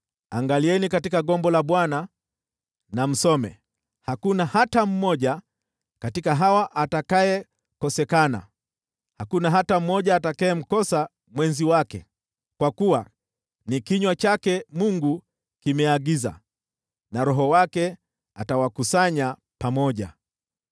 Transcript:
Angalieni katika gombo la Bwana na msome: Hakuna hata mmoja katika hawa atakayekosekana, hakuna hata mmoja atakayemkosa mwenzi wake. Kwa kuwa ni kinywa chake Mungu kimeagiza, na Roho wake atawakusanya pamoja.